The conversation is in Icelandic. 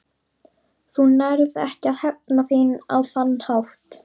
Þú nærð ekki að hefna þín á þann hátt.